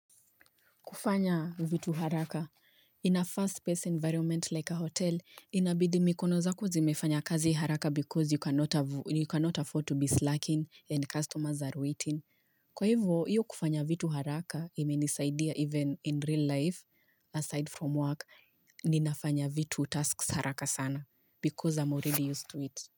Kufanya vitu haraka. In a fast-paced environment like a hotel, inabidi mikono zako zimefanya kazi haraka because you cannot afford to be slacking and customers are waiting. Kwa hivyo, iyo kufanya vitu haraka imenisaidia even in real life, aside from work, ninafanya vitu tasks haraka sana because I'm already used to it.